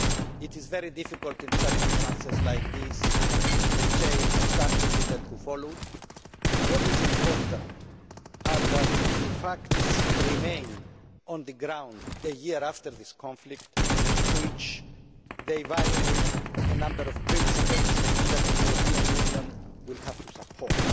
It is very difficult in circumstances like these to say who started things and who followed. What is important is that the facts remain on the ground a year after this conflict, and that they violate a number of principles which the European Union has to support.